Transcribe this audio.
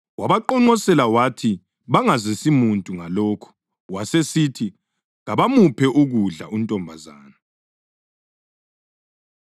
Wabaqonqosela wathi bangazisi muntu ngalokho, wasesithi kabamuphe ukudla untombazana.